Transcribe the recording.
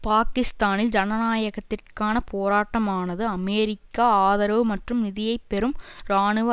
பாக்கிஸ்தானில் ஜனநாயகத்திற்கான போராட்டமானது அமெரிக்கா ஆதரவு மற்றும் நிதியை பெறும் இராணுவ